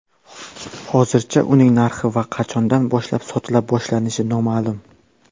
Hozircha uning narxi va qachondan boshlab sotila boshlanishi noma’lum.